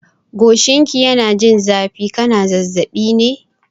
Goshinka yana yin zafi, kana zazzaɓi ne?